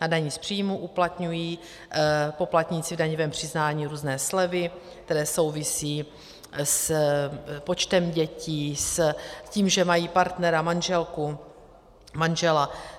U daní z příjmů uplatňují poplatníci v daňovém přiznání různé slevy, které souvisí s počtem dětí, s tím, že mají partnera, manželku, manžela.